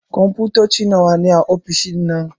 Kunfotoci nawa ne a ofishin nan?